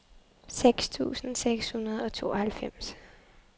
seks tusind seks hundrede og tooghalvfems